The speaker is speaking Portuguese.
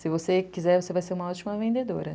Se você quiser, você vai ser uma ótima vendedora.